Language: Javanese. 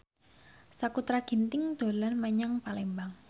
Sakutra Ginting dolan menyang Palembang